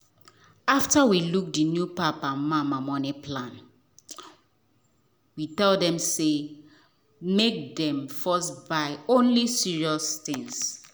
after we look the new papa and mama money plan we tell them make dem first buy only serious things.